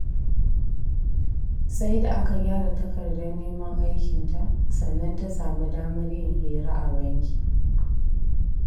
Saida aka gyara takardar neman aikinta sannan ta sami damar yin hira a banki.